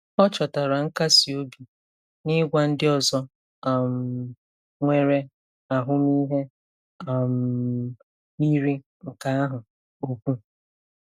Ọ chọtara nkasi obi n'ịgwa ndị ọzọ um nwere ahụmịhe um yiri nke ahụ okwu.